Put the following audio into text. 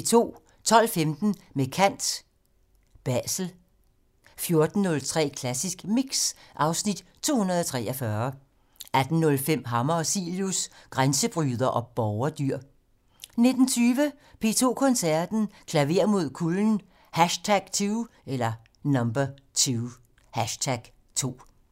12:15: Med kant - Basel 14:03: Klassisk Mix (Afs. 243) 18:05: Hammer og Cilius - Grænsebryder og borgerdyr 19:20: P2 Koncerten - Klaver mod kulden #2